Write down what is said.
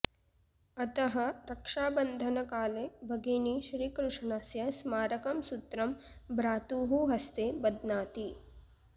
अतः रक्षाबन्धनकाले भगिनी श्रीकृष्णस्य स्मारकं सूत्रं भ्रातुः हस्ते बध्नाति